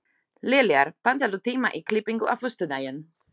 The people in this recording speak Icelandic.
Liljar, pantaðu tíma í klippingu á föstudaginn.